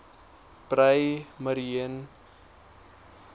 breë mariene omgewing